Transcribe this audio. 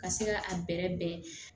Ka se ka a bɛrɛ bɛn